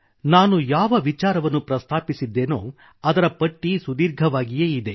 ನಾನು ಯಾವ ವಿಚಾರವನ್ನು ಪ್ರಸ್ತಾಪಿಸಿದ್ದೇನೋ ಅದರ ಪಟ್ಟಿ ಸುದೀರ್ಘವಾಗಿಯೇ ಇದೆ